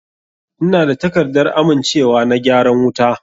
Ina da takardar amincewa na gyaran wuta.